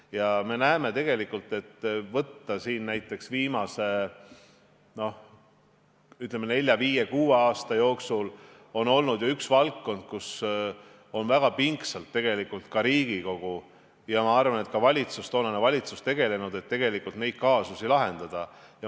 Ja me näeme tegelikult, kui võtta näiteks viimased, ütleme, neli-viis-kuus aastat, et on olnud üks valdkond, millega on väga pingsalt Riigikogu ja ma arvan, ka valitsus tegelenud, et teatud kaasusi lahendada.